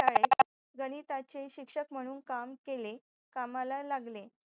गणिताचे शिक्षक म्हणून काम केले कामाला लागले